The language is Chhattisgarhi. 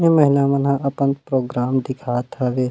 ए महिला मन ह अपन प्रोग्राम दिखात हवे।